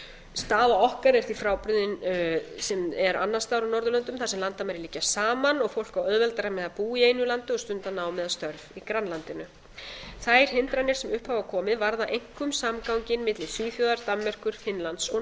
staða okkar er því frábrugðin sem er annars staðar á norðurlöndum þar sem landamæri liggja saman og fólk á auðveldara með að búa í einu landi og stunda nám eða störf í grannlandinu þær hindranir sem upp hafa komið varða einkum samganginn milli svíþjóðar danmerkur finnlands og noreg